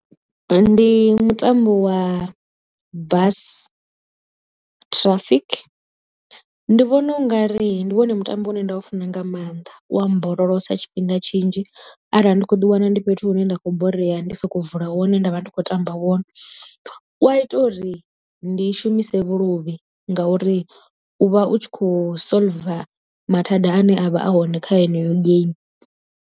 Ndi mutambo wa bus traffic ndi vhona u ngari ndi wone mutambo une nda u funa nga maanḓa u a mborolosa tshifhinga tshinzhi, arali ndi kho ḓi wana ndi fhethu hune nda khou borea ndia sokou vula wone nda vha ndi khou tamba wone. U a ita uri ndi shumise vhuluvhi ngauri u vha u tshi kho solver mathada ane a vha a hone kha yeneyo geimi.